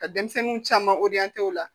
Ka denmisɛnninw caman o la